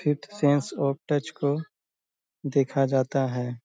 Fifth sense of touch को देखा जाता है।